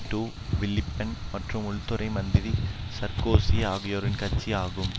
to Villepin மற்றும் உள்துறை மந்திரி சர்க்கோசி ஆகியோரின் கட்சி ஆகும்